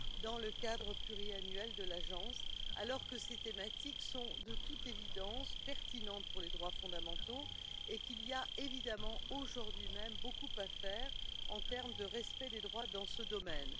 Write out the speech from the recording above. dans le cadre pluriannuel de l'Agence, alors que ces thématiques sont de toute évidence pertinentes pour les droits fondamentaux et qu'il y a évidemment, aujourd'hui même, beaucoup à faire en termes de respect des droits dans ce domaine.